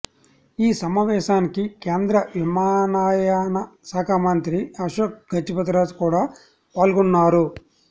ఈ సమావేశానికి కేంద్ర విమానయాన శాఖ మంత్రి అశోక గజపతిరాజు కూడా పాల్గొన్నారు